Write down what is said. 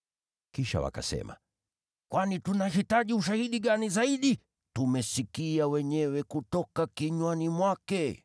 Kisha wakasema, “Tuna haja gani tena ya ushahidi zaidi? Tumesikia wenyewe kutoka kinywani mwake.”